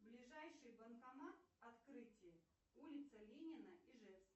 ближайший банкомат открытие улица ленина ижевск